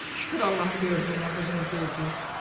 Şükür Allahın böyüklüyünə bu günü gördük.